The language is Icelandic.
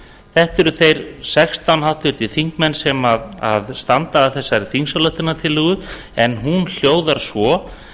þetta eru þeir sextán háttvirtir þingmenn sem standa að þessari þingsályktunartillögu hún hljóðar svo frá tuttugu og eitt